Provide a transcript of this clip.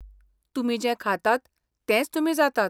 तुमी जें खातात तेंच तुमी जातात.